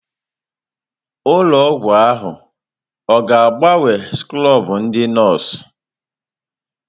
Ụlọ ọgwụ ahụ ọ ga-agbanwe skrọbụ ndị nọọsụ?